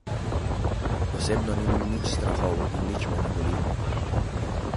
Osebno nimam nič strahov in me nič ne boli.